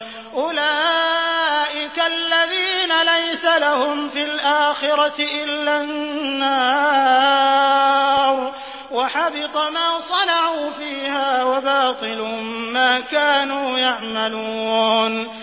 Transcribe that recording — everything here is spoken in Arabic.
أُولَٰئِكَ الَّذِينَ لَيْسَ لَهُمْ فِي الْآخِرَةِ إِلَّا النَّارُ ۖ وَحَبِطَ مَا صَنَعُوا فِيهَا وَبَاطِلٌ مَّا كَانُوا يَعْمَلُونَ